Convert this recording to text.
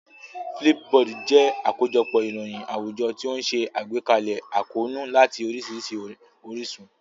Flipboard jẹ́ àkójọpọ̀ ìròyìn àwùjọ tí ó ń ṣe àgbékalẹ̀ àkóónú láti oríṣiríṣi orísun.